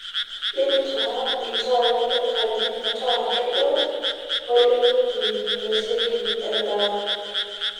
intaa iltaai le nkaji metaa kedo, ole wueji ninosiki en'daa